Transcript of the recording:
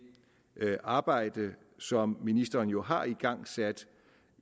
arbejde som ministeren jo har igangsat